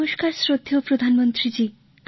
নমস্কর শ্রদ্ধেয় প্রধানমন্ত্রীজী